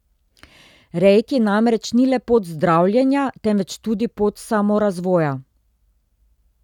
Reiki namreč ni le pot zdravljenja, temveč tudi pot samorazvoja.